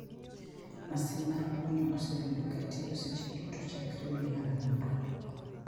Masin mar kunyo osebedo katiyo seche duto chakre dwe mar Aboro.